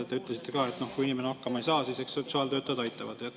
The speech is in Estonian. Te ütlesite ka, et kui inimene hakkama ei saa, siis eks sotsiaaltöötajad aitavad.